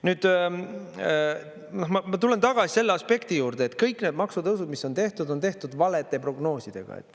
Nüüd, ma tulen tagasi selle aspekti juurde, et kõik need maksutõusud, mis on tehtud, on tehtud valede prognoosidega.